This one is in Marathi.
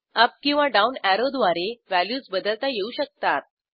अप किंवा डाऊन अॅरोद्वारे व्हॅल्यूज बदलता येऊ शकतात